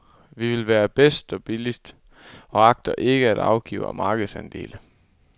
Vi vil være bedst og billigst og agter ikke at afgive markedsandele.